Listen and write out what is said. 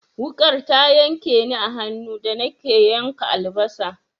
Wuƙar ta yanke ni a hannu da nake yanka albasa.